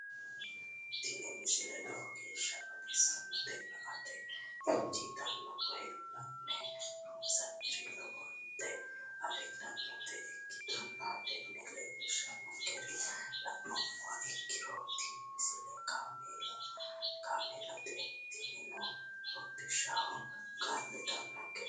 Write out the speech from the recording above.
tini misile lowo geeshsha baxissannote la"ate injiitanno woy la'ne ronsannire lowote afidhinota ikkitanna tini leellishshannonkeri la'nummoha ikkiro tini misile kaameellate tinino hodhishshaho kaa'litannonkete.